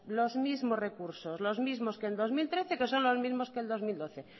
los mismos recursos los mismos que el dos mil trece que son los mismos que el dos mil doce